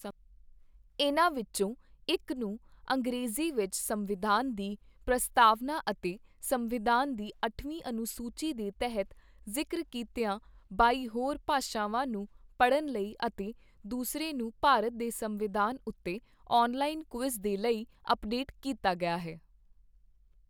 ਇਨ੍ਹਾਂ ਵਿੱਚੋਂ ਇੱਕ ਨੂੰ ਅੰਗਰੇਜ਼ੀ ਵਿੱਚ ਸੰਵਿਧਾਨ ਦੀ ਪ੍ਰਸਤਾਵਨਾ ਅਤੇ ਸੰਵਿਧਾਨ ਦੀ ਅੱਠਵੀਂ ਅਨੁਸੂਚੀ ਦੇ ਤਹਿਤ ਜ਼ਿਕਰ ਕੀਤੀਆਂ ਬਾਈ ਹੋਰ ਭਾਸ਼ਾਵਾਂ ਨੂੰ ਪੜ੍ਹਣ ਲਈ ਅਤੇ ਦੂਸਰੇ ਨੂੰ ਭਾਰਤ ਦੇ ਸੰਵਿਧਾਨ ਉੱਤੇ ਔਨਲਾਈਨ ਕੁਇਜ਼ ਦੇ ਲਈ ਅੱਪਡੇਟ ਕੀਤਾ ਗਿਆ ਹੈ।